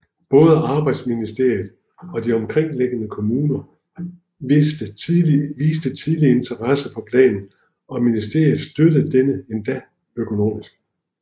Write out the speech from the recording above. Både arbejdsministeriet og de omkringliggende kommuner viste tidligt interesse for planen og ministeriet støttede den endda økonomisk